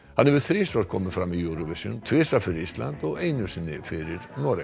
hann hefur þrisvar komið fram í Eurovision tvisvar fyrir Ísland og einu sinni fyrir Noreg